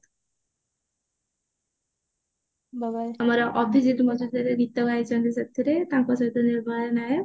ଅଭିଜିତ ମଜୁମଦାର ଗୀତ ଗାଇଛନ୍ତି ସେଥିରେ ଟବକା ସହିତ ନିର୍ମଳା ନାୟକ